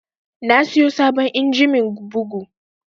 Na siyo sabon injimin bugu